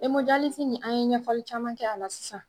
nin an ye ɲɛfɔli caman kɛ a la sisan.